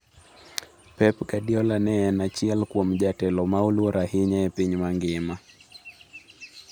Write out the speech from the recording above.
"Pep Guardiola ne en achiel kuom jatelo ma oluor ahinya e piny mangima."